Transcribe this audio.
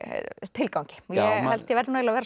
tilgangi og ég held ég verði eiginlega